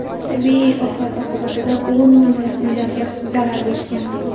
Tabiiy ofat oqibatida o‘n minglab uylarga zarar yetgan.